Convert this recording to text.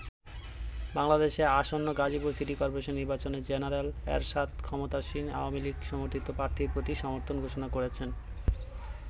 বাংলাদেশে আসন্ন Gazipur city corporation নির্বাচনে জেনারেল এরশাদ ক্ষমতাসীন আওয়ামী লীগ সমর্থিত প্রার্থীর প্রতি সমর্থন ঘোষণা করেছেন।